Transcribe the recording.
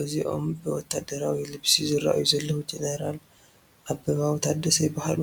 እዚኦም ብወታደራዊ ልብሲ ዝርአዩ ዘለዉ ጀነራል ኣበባው ታደሰ ይበሃሉ፡፡